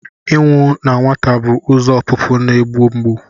Ịnwụ na nwata bụ ụzọ ọpụpụ na-egbu mgbu.